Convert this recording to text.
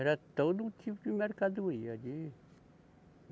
Era todo um tipo de mercadoria ali.